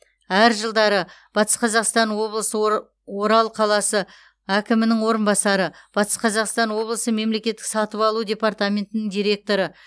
әр жылдары батыс қазақстан облысы ора орал қаласы әкімінің орынбасары батыс қазақстан облысы мемлекеттік сатып алу департаментінің директоры